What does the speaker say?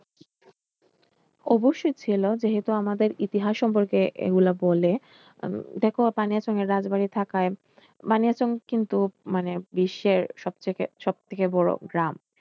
অবশ্যই ছিল যেহেতু আমাদের ইতিহাস সম্পর্কে এগুলা বলে আহ দেখো বানিয়াচং এর রাজবাড়ি থাকায় বানিয়াচং কিন্তু মানে বিশ্বের সবথেকে সবথেকে বড় গ্রাম।